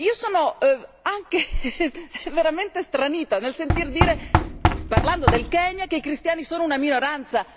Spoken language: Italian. Sono anche veramente stranita nel sentire dire, parlando del Kenya, che i cristiani sono una minoranza.